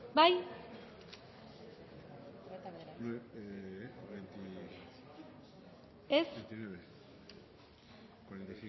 bozkatu dezakegu